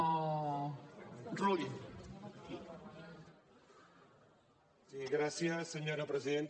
sí gràcies senyora presidenta